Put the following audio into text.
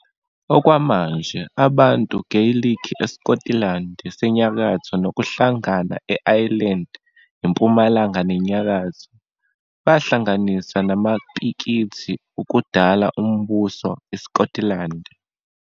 Okwamanje, abantu Geyilikhi esiKotilandi senyakatho, nokuhlangana e-Ayilendi impumalanga nenyakatho, bahlanganisa namaPikithi ukudala Umbuso isiKotilandi.